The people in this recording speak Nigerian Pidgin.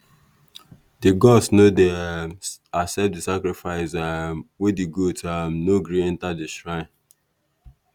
di gods no dey um accept di sacrifice um when di goat um no gree enter di shrine.